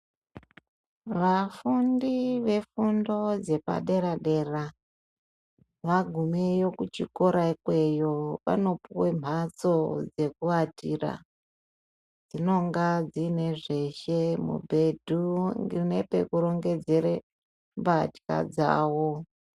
Vafundi vefundo dzepaderadera vagumeyo kuchikora ikweyi vanopuwe mhatso dzekuwatira dzinonga dziine zveshe mubhedhu nepekurongedzere mbahla dzawo.